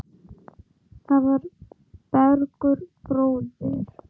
Það var Bergur bróðir.